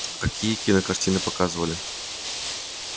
а какие кинокартины показывали